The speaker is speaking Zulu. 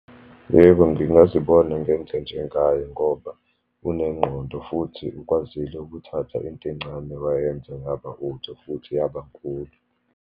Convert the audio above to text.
Yebo, ngingazibona ngenze njengaye ngoba unengqondo, futhi ukwazile ukuthatha into encane wayenze yaba utho, futhi yabankulu.